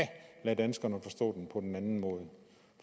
lade danskerne forstå på en anden måde